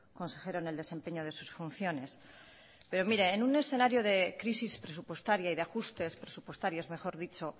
consejero en el desempeño de sus funciones pero mire en un escenario de crisis presupuestaria y de ajustes presupuestarios mejor dicho